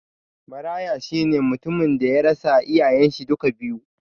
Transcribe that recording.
Maraya shine mutum daya rasa iyayen shi duka biyu